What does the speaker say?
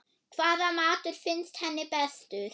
Hvaða matur finnst henni bestur?